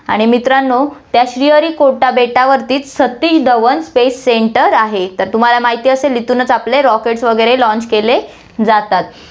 आणि मित्रांनो, त्या श्रीहरीकोटा बेटावरतीच सतीश धवन space center आहे, तर तुम्हाला माहिती असेल इथूनच आपले rockets वैगरे launch केले जातात.